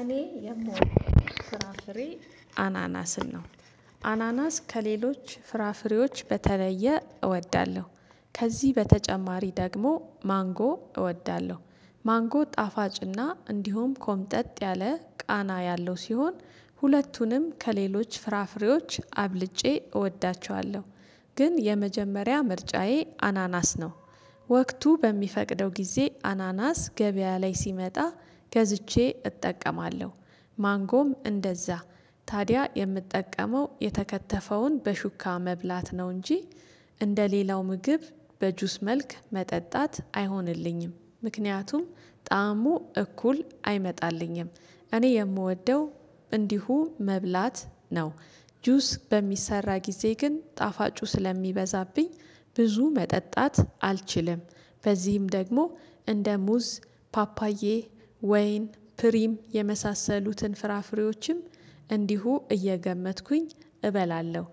እኔ የምወደው ፍራፍሬ አናናስን ነው። አናናስ ከሌሎች ፍራፍሬዎች በተለየ እወዳለሁ። ከዚህ በተጨማሪ ደግሞ ማንጎ እወዳለሁ። ማንጎ ጣፋጭና እንዲሁም ኮምጠጥ ያለ ቃና ያለው ሲሆን ሁለቱንም ከሌሎች ፍራፍሬዎች አብልጬ እወዳቸዋለሁ። ግን የመጀመሪያ ምርጫዬ አናናስ ነው። ወቅቱ በሚፈቅደው ጊዜ አናናስ ገበያ ላይ ሲመጣ ገዝቼ እጠቀማለሁ። ማንጎም እንደዛ ታዲያ የምጠቀመው የተከተፈውን በሹካ መብላት ነው እንጂ እንደ ሌላው ምግብ በጁስ መልክ መጠጣት አይሆንልኝም ምክንያቱም ጣዕሙ እኩል አይመጣልኝም። እኔ የምወደው እንዲሁ መብላት ነው። ጁስ በሚሰራ ጊዜ ግን ጣፋጩ ስለሚበዛብኝ ብዙ መጠጣት አልችልም። በዚህም ደግሞ እንደ ሙዝ፣ ፓፓዬ፣ ወይን፣ ፕሪም የመሳሰሉትን ፍራፍሬዎችም እንዲሁ እየገመጥኩኝ እበላለሁ።